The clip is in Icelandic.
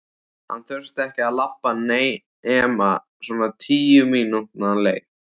Hann þurfti ekki að labba nema svona tíu mínútna leið.